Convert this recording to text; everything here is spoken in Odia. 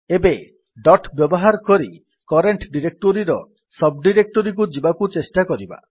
ଏବେ ଡଟ୍ ବ୍ୟବହାର କରି କରେଣ୍ଟ୍ ଡିରେକ୍ଟୋରୀର ସବ୍ ଡିରେକ୍ଟୋରୀକୁ ଯିବାକୁ ଚେଷ୍ଟା କରିବା